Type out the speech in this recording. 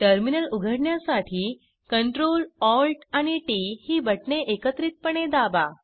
terminal उघडण्यासाठी Ctrl Alt आणि T T ही बटणे एकत्रितपणे दाबा